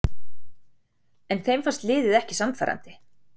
En þeim fannst liðið ekki sannfærandi